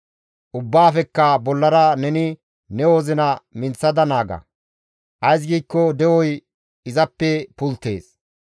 Ubbaafekka bollara neni ne wozina minththada naaga; ays giikko de7oy izappe pulttees.